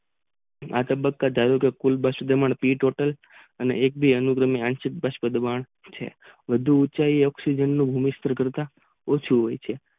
વધુ ઉંચાઈ ની કરતા ઓછું હોય છે